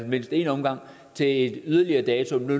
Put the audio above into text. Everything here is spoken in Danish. mindst en omgang til en yderligere dato det blev